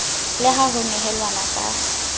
le ha ho nehelanwa ka